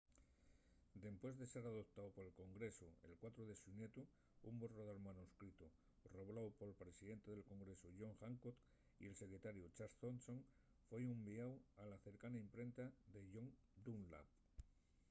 dempués de ser adoptáu pol congresu’l 4 de xunetu un borrador manuscritu robláu pol presidente del congresu john hancock y el secretariu charles thomson foi unviáu a la cercana imprenta de john dunlap